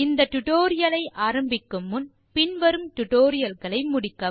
இந்த டியூட்டோரியல் ஐ ஆரம்பிக்கும் முன் பின் வரும் டுடோரியல்களை முடிக்கவும்